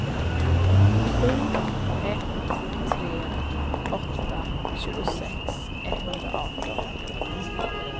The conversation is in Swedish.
sju ett tre åtta tjugosex etthundraarton